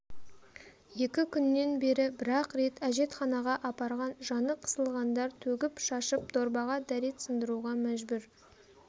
екі күннен бері бір-ақ рет әжетханаға апарған жаны қысылғандар төгіп-шашып дорбаға дәрет сындыруға мәжбүр